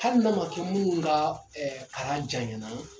Hali n'a ma kɛ minnu ka kalan janyana